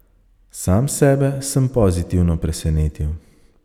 Sam sebe sem pozitivno presenetil.